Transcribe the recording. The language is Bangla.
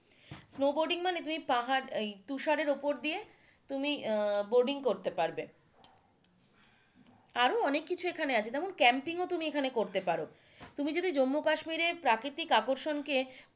স্নো বোর্ডিং মানে তুমি পাহাড় এর তুষারের উপর দিয়ে তুমি উম বোর্ডিং করতে পারবে আরো অনেককিছু এখানে আছে যেমন ক্যাম্পিংও তুমি এখানে করতে পারো তুমি যদি জম্মু কাশ্মীরের প্রাকৃতিক আকর্ষণকে,